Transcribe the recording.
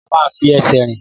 A máa ń fi ẹsẹ̀ rìn.